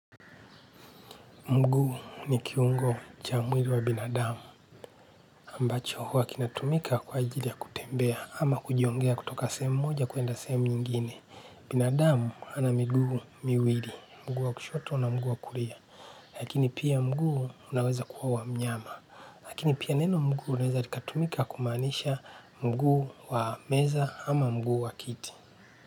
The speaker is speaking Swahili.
Mguu ni kiungo cha mwili wa binadamu, ambacho huwa kinatumika kwa ajili ya kutembea ama kujongea kutoka sehemu moja kuenda sehemu nyingine. Binadamu ana mguu miwili, mguu wa kushoto na mguu wa kulia, lakini pia mguu unaweza kuwa wa mnyama. Lakini pia neno mguu unaweza likatumika kumaanisha mguu wa meza ama mguu wa kiti.